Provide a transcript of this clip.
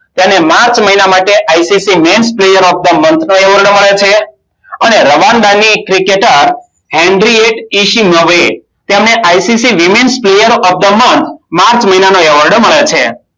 તેને માર્ચ મહિના માટે ICC men player of the month નો એવોર્ડ મળ્યો છે. અને રવાન્ડા ની ક્રિકેટર તેને ICC women player of the month March મહિનાનો એવોર્ડ મળ્યો છે.